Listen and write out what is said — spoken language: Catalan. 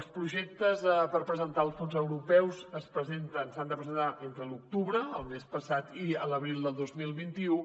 els projectes per presentar als fons europeus s’han de presentar entre l’octubre el mes passat i l’abril del dos mil vint u